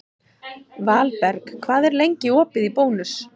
Valberg, hvað er lengi opið í Bónus?